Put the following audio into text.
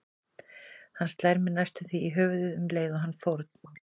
Hann slær mig næstum því í höfuðið um leið og hann fórn